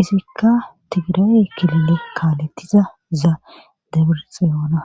izikka tigira7e kilile kaaletiza za debirxiyoona